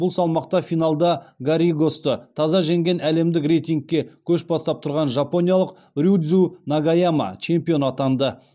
бұл салмақта финалда гарригосты таза жеңген әлемдік рейтингте көш бастап тұрған жапониялық рюдзю нагаяма чемпион атанды